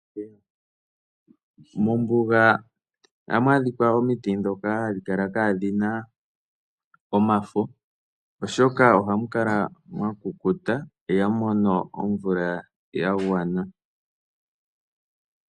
Mombuga ohamu adhika omiti ndhoka hadhi kala kaa dhi na omafo, oshoka ohamu kala mwa kukuta ihamu mono omvula ya gwana.